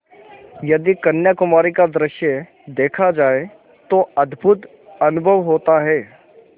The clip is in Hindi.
यदि कन्याकुमारी का दृश्य देखा जाए तो अद्भुत अनुभव होता है